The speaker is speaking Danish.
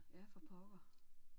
Ja for pokker